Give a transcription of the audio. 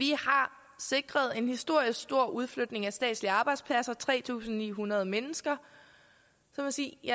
de har sikret en historisk stor udflytning af statslige arbejdspladser tre tusind ni hundrede mennesker så må sige